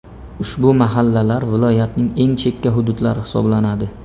Ushbu mahallalar viloyatning eng chekka hududlari hisoblanadi.